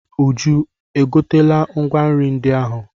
Uju e gotela ngwa nri ndị ahụ?